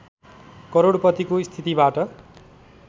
करोडपतिको स्थितिबाट